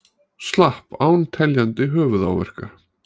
Slapp án teljandi höfuðáverka